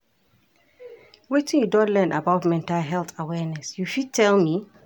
Wetin you don learn about mental health awareness, you fit tell me?